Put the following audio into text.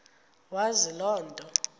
wazi loo nto